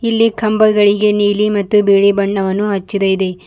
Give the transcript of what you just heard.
ಇಲ್ಲಿ ಕಂಬಗಳಿಗೆ ನೀಲಿ ಮತ್ತು ಬಿಳಿ ಬಣ್ಣವನ್ನು ಹಚ್ಚಿದಾಯಿದೆ.